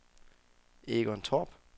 Egon Torp